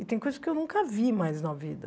E tem coisas que eu nunca vi mais na vida.